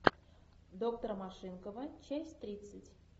доктор машинкова часть тридцать